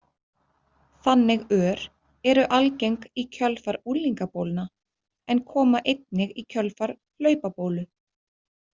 Þannig ör eru algeng í kjölfar unglingabólna en koma einnig í kjölfar hlaupabólu.